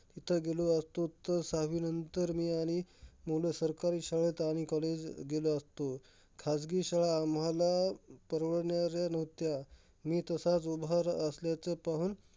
तिथं गेलो असतो, तर सहावीनंतर मी आणि मूलं सरकारी शाळेत आणि college गेलो असतो. खाजगी शाळा आम्हाला परवडणाऱ्या नव्हत्या. मी तसाच उभा रा असल्याचा पाहून,